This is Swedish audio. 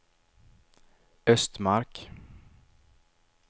Östmark